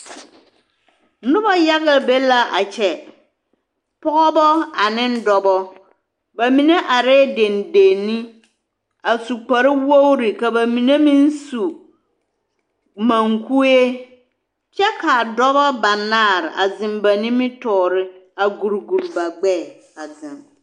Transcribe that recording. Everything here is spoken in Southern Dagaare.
Noba yaga be la a kyɛ pɔgeba ane dɔba ba mine arɛɛ deŋdeŋne a su kparewogre ka ba mine meŋ su maŋkue kyɛ ka dɔba banaare a zeŋ ba nimitɔɔre a guri guri ba gbɛɛ a zeŋ.